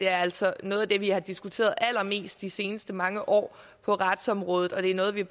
altså er noget af det vi har diskuteret allermest i de sidste mange år på retsområdet og det er noget vi